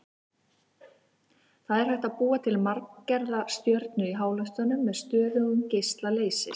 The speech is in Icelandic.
Það er hægt að búa til manngerða stjörnu í háloftunum með stöðugum geisla leysis.